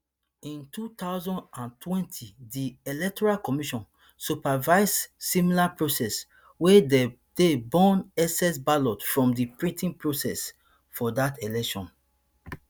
in two thousand and twenty di electoral commission supervise similar process wia dey tey burn excess ballot from di printing process for dat election